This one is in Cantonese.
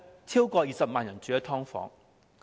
超過20萬人住在"劏房"。